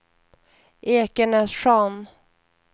Ekenässjön